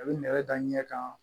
A bɛ nɛrɛ da ɲɛ kan